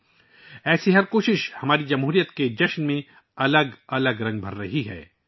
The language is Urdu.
اس طرح کی ہر کوشش ہماری جمہوریت کے جشن میں بے شمار رنگ ڈال رہی ہے